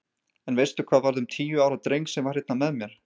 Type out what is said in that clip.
En veistu hvað varð um tíu ára dreng sem var hérna með mér?